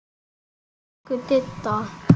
Elsku Didda.